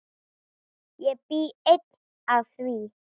Ég bý enn að því.